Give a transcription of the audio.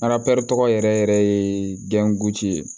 tɔgɔ yɛrɛ yɛrɛ yɛrɛ ye ye